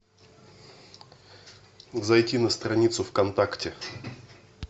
зайти на страницу в контакте